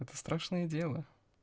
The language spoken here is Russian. это страшное дело